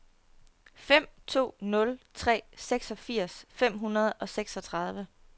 fem to nul tre seksogfirs fem hundrede og seksogtredive